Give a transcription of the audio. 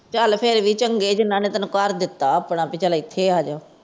ਚੱਲ ਫੇਰ ਵੀ ਚੰਗੇ ਨੇ ਜਿੰਨਾ ਨੇ ਤੈਨੂੰ ਘਰ ਦਿੱਤਾ ਆਪਣਾ ਚਾਲ ਇੱਥੇ ਆ ਜਾਓ।